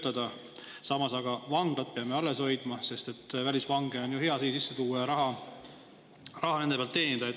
Aga samas, vanglad peame alles hoidma, sest on ju hea välisvange sisse tuua ja nende pealt raha teenida.